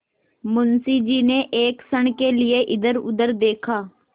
मुंशी जी ने एक क्षण के लिए इधरउधर देखा